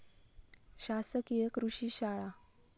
शासकीय कृषी शाळा